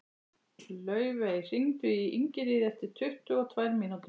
Laufey, hringdu í Ingiríði eftir tuttugu og tvær mínútur.